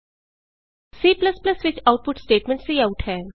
C ਵਿਚ output statement cout ਹੈ